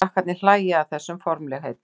Krakkarnir hlæja að þessum formlegheitum.